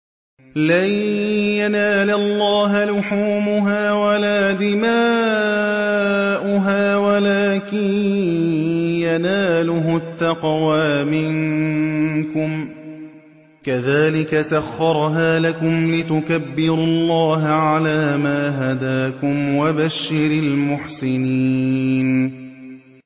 لَن يَنَالَ اللَّهَ لُحُومُهَا وَلَا دِمَاؤُهَا وَلَٰكِن يَنَالُهُ التَّقْوَىٰ مِنكُمْ ۚ كَذَٰلِكَ سَخَّرَهَا لَكُمْ لِتُكَبِّرُوا اللَّهَ عَلَىٰ مَا هَدَاكُمْ ۗ وَبَشِّرِ الْمُحْسِنِينَ